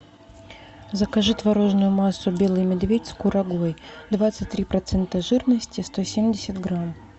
закажи творожную массу белый медведь с курагой двадцать три процента жирности сто семьдесят грамм